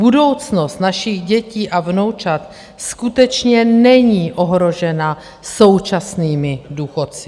Budoucnost našich dětí a vnoučat skutečně není ohrožena současnými důchodci.